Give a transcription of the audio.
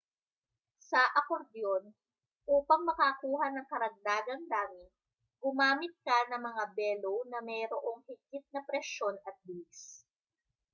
sa akordyon upang makakuha ng karagdagang dami gumamit ka ng mga bellow na mayroong higit na presyon at bilis